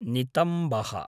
नितम्बः